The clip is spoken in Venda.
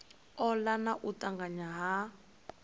ola na u tanganya ha